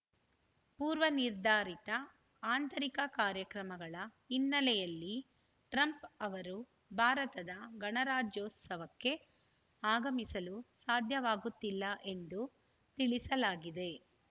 ಪೂರ್ವ ನಿರ್ಧರಿತ ಆಂತರಿಕ ಕಾರ್ಯಕ್ರಮಗಳ ಹಿನ್ನೆಲೆಯಲ್ಲಿ ಟ್ರಂಪ್‌ ಅವರು ಭಾರತದ ಗಣರಾಜ್ಯೋತ್ಸವಕ್ಕೆ ಆಗಮಿಸಲು ಸಾಧ್ಯವಾಗುತ್ತಿಲ್ಲ ಎಂದು ತಿಳಿಸಲಾಗಿದೆ